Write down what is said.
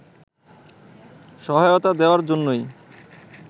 সহায়তা দেয়ার জন্যই